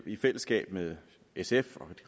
i fællesskab med sf